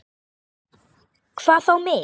Hvað þá mig.